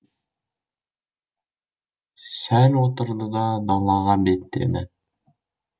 сәл отырды да далаға беттеді